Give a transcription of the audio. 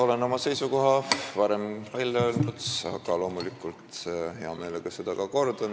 Olen oma seisukoha varem välja öelnud, aga ma loomulikult kordan seda hea meelega.